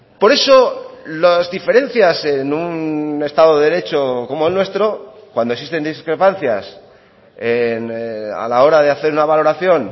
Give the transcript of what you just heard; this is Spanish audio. por eso las diferencias en un estado de derecho como el nuestro cuando existen discrepancias a la hora de hacer una valoración